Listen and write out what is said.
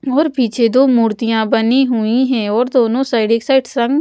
और पीछे दो मूर्तियाँ बनी हुई हैं और दोनों साइड एक साइड संग --